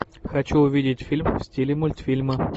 хочу увидеть фильм в стиле мультфильма